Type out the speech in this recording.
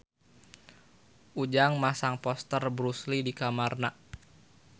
Ujang masang poster Bruce Lee di kamarna